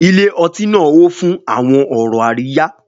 Ilé ọtí náà hó fún àwọn ọ̀rọ̀ àríyá.